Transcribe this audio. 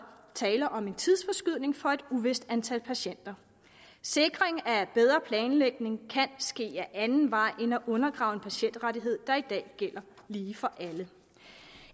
tale om en tidsforskydning for et uvist antal patienter sikring af bedre planlægning kan ske ad anden vej end at undergrave en patientrettighed der i dag gælder lige for alle